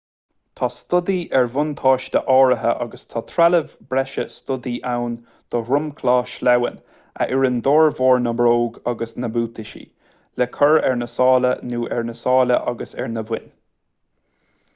tá stodaí ar bhuataisí áirithe agus tá trealamh breise stodaí ann do dhromchlaí sleamhain a oireann d'fhormhór na mbróg agus na mbuataisí le cur ar na sála nó ar na sála agus ar na boinn